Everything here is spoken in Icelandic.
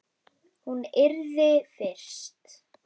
Hún yrði fyrst.